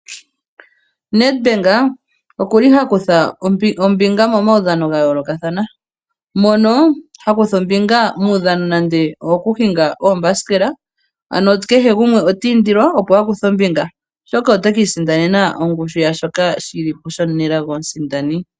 Nedbank okuli hakutha omjjnga momaudhano gayoolokathana mono hakutha ombinga muudhank nande owoku hinga oombasikela. Ano kehe gumwe otiindilwa opo a kuthe ombinga oshoka otekiisindanena shoka shili po shomunelago omusindani.